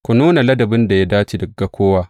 Ku nuna ladabin da ya dace ga kowa.